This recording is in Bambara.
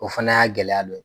O fana y'a gɛlɛya dɔ ye.